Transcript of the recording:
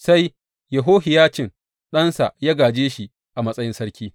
Sai Yehohiyacin ɗansa ya gāje shi a matsayin sarki.